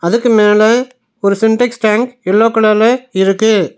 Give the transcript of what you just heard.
அதுக்கு மேல ஒரு சின்டெக்ஸ் டேங்க் எல்லோ கலர்ல இருக்கு.